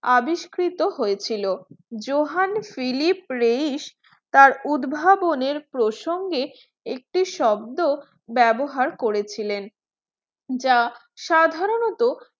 আবিষ্কৃত হয়েছিল Johann Philipp Reis তার উদ্ভাবনের প্রসঙ্গে একটি শব্দ ব্যবহার করেছিলেন যা সাধারণতঃ